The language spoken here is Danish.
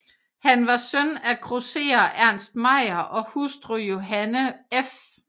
Han var søn af grosserer Ernst Meyer og hustru Johanne f